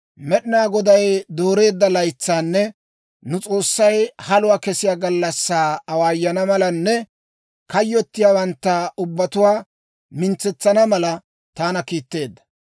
Med'inaa Goday dooreedda laytsaanne nu S'oossay haluwaa kessiyaa gallassaa awaayana malanne kayyottiyaawantta ubbatuwaa mintsetsana mala, taana kiitteedda.